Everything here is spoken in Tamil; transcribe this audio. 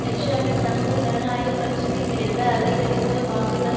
ஹெஸ்ஸவில் சமூக ஜனநாயக கட்சிக்கு கிடைத்த அதிகரித்த வாக்குகள்